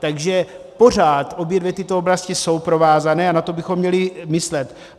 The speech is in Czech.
Takže pořád obě dvě tyto oblasti jsou provázány a na to bychom měli myslet.